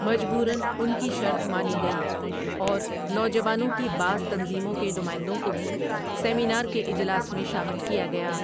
مجبوراً ان کی شرط مانی گئی اور نوجوانوں کی بعض تنظیموں کے نمائندوں کو بھی سیمینار کے اجلاس میں شامل کیا گیا ۔